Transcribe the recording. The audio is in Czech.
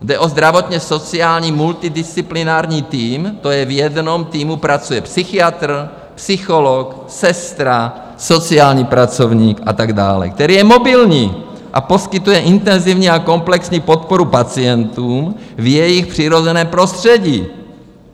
Jde o zdravotně-sociální multidisciplinární tým - to je, v jednom týmu pracuje psychiatr, psycholog, sestra, sociální pracovník a tak dále - který je mobilní a poskytuje intenzivní a komplexní podporu pacientům v jejich přirozeném prostředí.